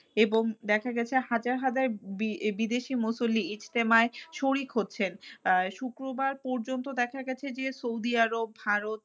এবং দেখা গেছে হাজার হাজার বি~ বিদেশি মুসল্লি ইস্তেমায় শরিক হচ্ছেন। আহ শুক্রবার পর্যন্ত দেখা গেছে যে সৌদি আরব, ভারত,